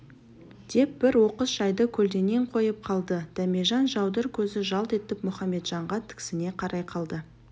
деп бір оқыс жайды көлденең қойып қалды дәмежан жаудыр көзі жалт етіп мұхаметжанға тіксіне қарай қалды